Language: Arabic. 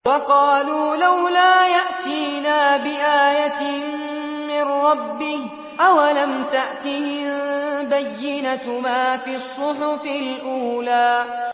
وَقَالُوا لَوْلَا يَأْتِينَا بِآيَةٍ مِّن رَّبِّهِ ۚ أَوَلَمْ تَأْتِهِم بَيِّنَةُ مَا فِي الصُّحُفِ الْأُولَىٰ